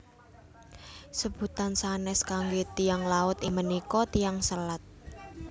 Sebutan sanés kangge Tiyang Laut inggih punika Tiyang Selat